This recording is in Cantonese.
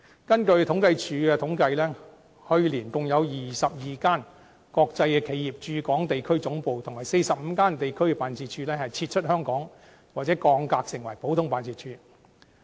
根據政府統計處的統計，去年共有22間國際企業的駐港地區總部和45間地區辦事處撤出香港或降格成普通辦事處。